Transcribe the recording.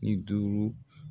I duuru.